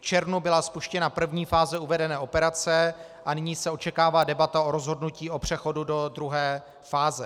V červnu byla spuštěna první fáze uvedené operace a nyní se očekává debata o rozhodnutí o přechodu do druhé fáze.